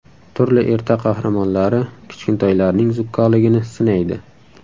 Turli ertak qahramonlari kichkintoylarning zukkoligini sinaydi.